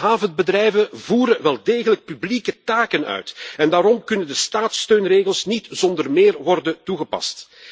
Onze havenbedrijven voeren wel degelijk publieke taken uit en daarom kunnen de staatssteunregels niet zonder meer worden toegepast.